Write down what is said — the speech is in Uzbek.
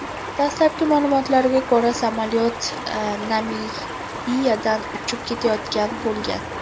Dastlabki ma’lumotlarga ko‘ra, samolyot Namibiyadan uchib kelayotgan bo‘lgan.